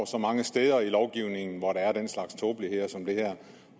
så mange steder i lovgivningen hvor der er den slags tåbeligheder som det her